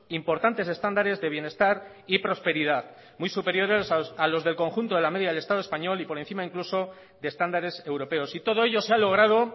importantes estándares de bienestar y prosperidad muy superiores a los del conjunto de la media del estado español y por encima incluso de estándares europeos y todo ello se ha logrado